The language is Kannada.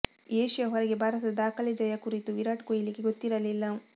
ಏಷ್ಯಾ ಹೊರಗೆ ಭಾರತದ ದಾಖಲೆ ಜಯ ಕುರಿತು ವಿರಾಟ್ ಕೊಹ್ಲಿಗೆ ಗೊತ್ತಿರಲಿಲ್ಲ